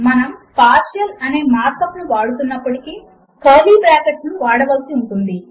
మనము పార్షియల్ అనే markup ను వాడుతున్నప్పుడు కర్లీ బ్రాకెట్ లను వాడవలసి ఉంటుంది